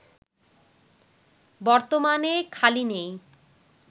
বর্তমানে খালি নেই